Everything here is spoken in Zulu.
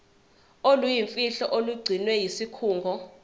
oluyimfihlo olugcinwe yisikhungo